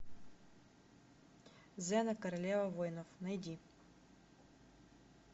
зена королева воинов найди